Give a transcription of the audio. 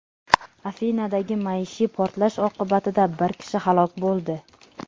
Afinadagi maishiy portlash oqibatida bir kishi halok bo‘ldi.